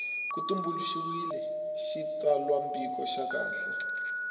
ku tumbuluxiwile xitsalwambiko xa kahle